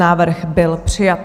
Návrh byl přijat.